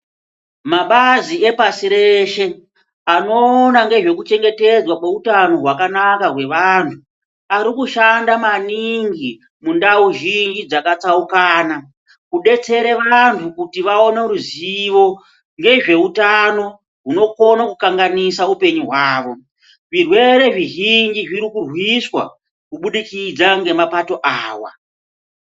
Mabazi epashi reshe anoona ngezve kuchengetedzwa kweutano hwakanaka hwevantu ari kushanda maningi mundau zhinji dzakatsarukana kudetsere vantu kuti vaone ruzivo ngezveutano hunokone kukanganisa upenyu hwavo zvirwere zvizhinji zvirikurwiswa kubudikidza ngemapato aya.